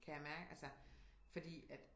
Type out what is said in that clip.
Kan jeg mærke altså fordi at